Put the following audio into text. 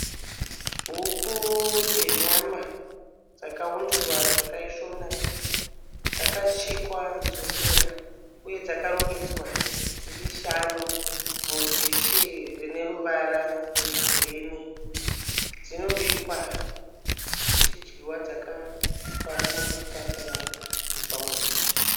Huku dzenyama dzakaundurwa zvakaisvonaka, dzakachekwa nzondora uye dzakarongedzwa dziri shanu mudhishi rine ruvara rwegirini. Dzinobikwa dzichidyiwa dzakaiswa nemafuta kana kuiswa muto.